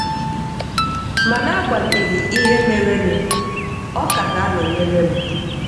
Ma n’agbanyeghị ihe merenụ, ọ ka ga-anọnyere m.